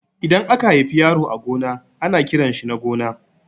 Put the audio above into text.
Idan aka haifi yaro a gona ana kiranshi Nagona